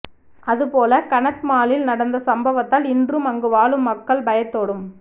அதுபோல கநத்மாலில் நடந்த சம்பவத்தால் இன்றும் அங்கு வாழும் மக்கள் பயத்தோடும்